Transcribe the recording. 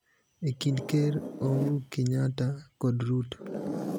e kind Ker Ouru Kenyatta kod Ruto,